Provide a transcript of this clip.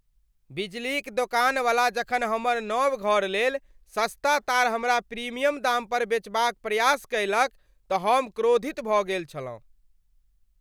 बिजलीक दोकानवला जखन हमर नव घरलेल सस्ता तार हमरा प्रीमियम दामपर बेचबाक प्रयास कयलक तँ हम क्रोधित भऽ गेल छलहुँ ।